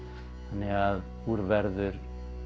þannig að úr verður